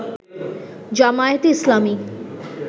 জামায়াতে ইসলামি